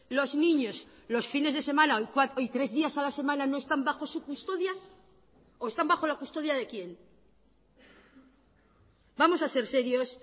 los niños los fines de semana y tres días a la semana no están bajo su custodia o están bajo la custodia de quién vamos a ser serios